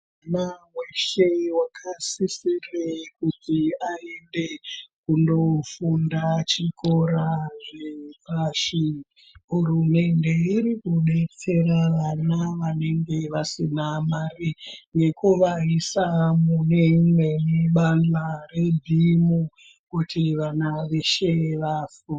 Mwana weshe wakasisire kuti aende kundofunda Chikora kunyanya nyanya zvepashi, hurumende iri kudetsera vana vanonga vasina mare nekuvaisa muBhimu kuti vana veshe vahanire funde.